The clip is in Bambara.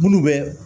Munnu bɛ